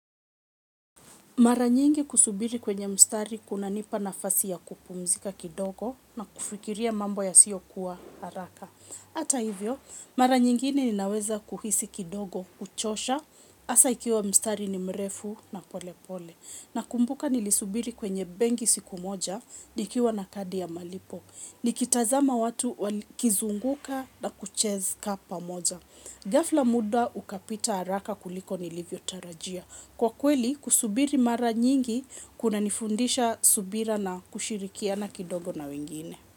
Mara nyingi kusubiri kwenye mstari kunanipa nafasi ya kupumzika kidogo na kufikiria mambo yasiyokuwa haraka. Hata hivyo, mara nyingi ninaweza kuhisi kidogo, kuchosha, hasa ikiwa mstari ni mrefu na polepole. Nakumbuka nilisubiri kwenye benki siku moja, nikiwa na kadi ya malipo. Nikitazama watu wali kizunguka na kucheza pamoja. Ghafla muda ukapita haraka kuliko nilivyotarajia. Kwa kweli kusubiri mara nyingi kunanifundisha subira na kushirikiana kidogo na wengine.